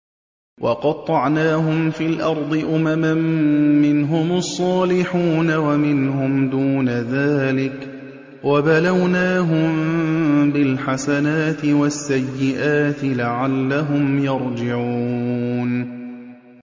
وَقَطَّعْنَاهُمْ فِي الْأَرْضِ أُمَمًا ۖ مِّنْهُمُ الصَّالِحُونَ وَمِنْهُمْ دُونَ ذَٰلِكَ ۖ وَبَلَوْنَاهُم بِالْحَسَنَاتِ وَالسَّيِّئَاتِ لَعَلَّهُمْ يَرْجِعُونَ